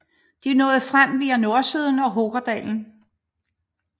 De nåede frem via nordsiden og Hookerdalen